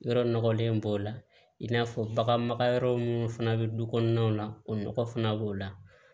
Yɔrɔ nɔgɔlen b'o la i n'a fɔ baganma yɔrɔ minnu fana bɛ du kɔnɔnaw la o nɔgɔ fana b'o la